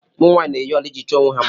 Ụmụ nwanyị na-eyi ọla iji chọọ onwe ha mma.